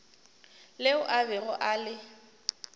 leo a bego a le